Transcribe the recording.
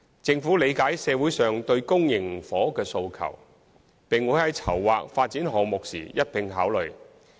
政府理解社會上對公營房屋的訴求，並會在籌劃發展項目時一併考慮。